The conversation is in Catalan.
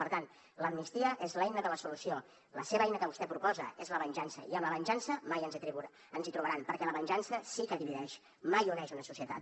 per tant l’amnistia és l’eina de la solució la seva eina que vostè proposa és la venjança i amb la venjança mai ens hi trobaran perquè la venjança sí que divideix mai uneix una societat